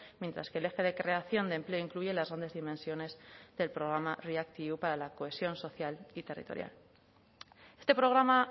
mientras que el eje de creación de empleo incluye las grandes dimensiones del programa react eu para la cohesión social y territorial este programa